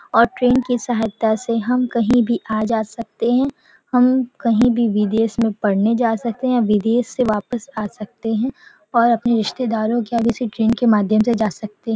और ट्रैन की सहायता से हम कहीं भी आ जा सकते हैं हम कहीं भी विदेश में पढ़ने जा सकते हैं विदेश से वापस आ सकते हैं और अपने रिस्तेदारो के यहाँ भी इसी ट्रैन माध्यम से जा सकते हैं।